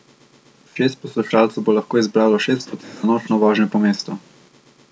Šest poslušalcev bo lahko izbralo šest poti za nočno vožnjo po mestu.